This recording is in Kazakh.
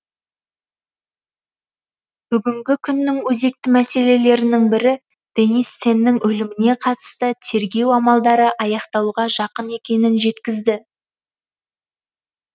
бүгінгі күннің өзекті мәселелерінің бірі денис теннің өліміне қатысты тергеу амалдары аяқталуға жақын екенін жеткізді